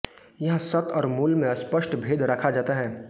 यहाँ सत् और मूल्य में स्पष्ट भेद रखा जाता है